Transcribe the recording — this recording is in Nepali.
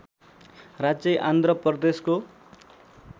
राज्य आंध्र प्रदेशको